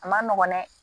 A ma nɔgɔn dɛ